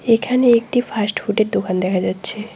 এখানে একটি ফাস্টফুডের দোকান দেখা যাচ্ছে।